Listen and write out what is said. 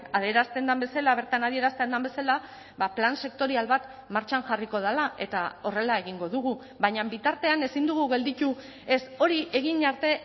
adierazten den bezala bertan adierazten den bezala plan sektorial bat martxan jarriko dela eta horrela egingo dugu baina bitartean ezin dugu gelditu ez hori egin arte